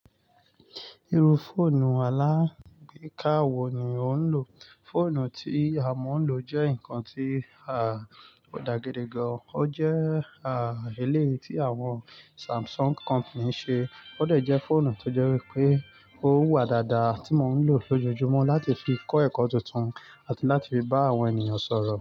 Irú fóònù alágbèká wo ni o ń lò? Fóònù tí a mò ń lò jẹ́ ǹkan tí a ò dàgede gan. Ó jẹ́ àrílé tí àwon Samsung company ṣe, ó dàjẹ́ fóònù tó jẹ́ wípé ó wà dáadáa tí mò ń lò lójoojúmọ́ láti fi kó ẹ̀kọ́ tuntun àti láti fi bá àwon ènìyàn sọ̀rọ̀